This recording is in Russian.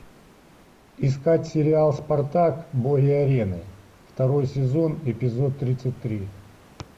искать сериал спартак боги арены второй сезон эпизод тридцать три